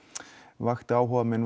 vakti áhuga minn